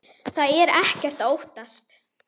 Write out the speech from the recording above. Það er ekkert að óttast.